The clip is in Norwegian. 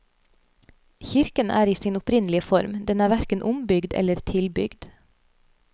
Kirken er i sin opprinnelige form, den er hverken ombygd eller tilbygd.